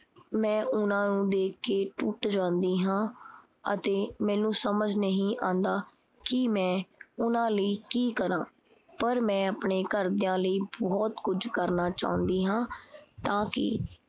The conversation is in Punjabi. ਮੈਂ ਉਹਨਾਂ ਨੂੰ ਦੇਖ ਕੇ ਟੁੱਟ ਜਾਂਦੀ ਹਾਂ ਅਤੇ ਮੈਨੂੰ ਸਮਝ ਨਹੀਂ ਆਂਦਾ ਕੀ ਮੈਂ ਉਹਨਾਂ ਲਈ ਕੀ ਕਰਾਂ। ਪਰ ਮੈਂ ਆਪਣੇ ਘਰਦਿਆਂ ਲਈ ਬਹੁਤ ਕੁਝ ਕਰਨਾ ਚਾਉਂਦੀ ਹਾਂ ਤਾਂ ਕੀ